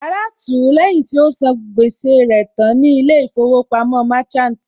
Ara tú ú lẹ́yìn tí ó sàn gbẹ́sẹ̀ rẹ̀ tán ní ilé ìfowópamọ́ Merchant